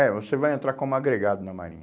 É, você vai entrar como agregado na marinha.